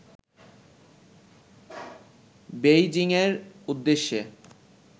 বেইজিংয়ের উদ্দেশ্যে